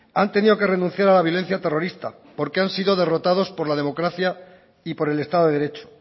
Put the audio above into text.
han tenido que renunciar a la violencia terrorista porque han sido derrotados por la democracia y por el estado de derecho